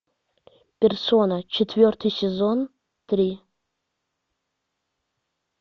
персона четвертый сезон три